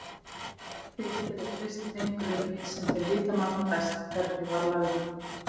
Þeir geta treyst þeim grunni sem þeir vita manna best hvernig var lagður.